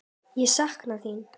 Ég sakna þín.